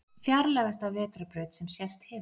Fjarlægasta vetrarbraut sem sést hefur